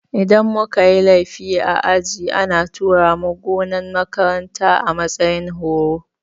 Idan muka yi laifi a aji ana tura mu gonan makarantar a matsayin horo